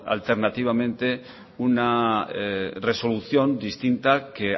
alternativamente una resolución distinta que